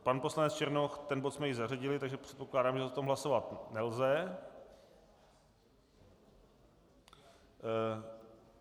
Pan poslanec Černoch - ten bod jsme již zařadili, takže předpokládám, že o tom hlasovat nelze.